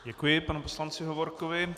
Děkuji panu poslanci Hovorkovi.